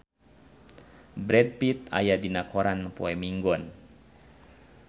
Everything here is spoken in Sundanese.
Brad Pitt aya dina koran poe Minggon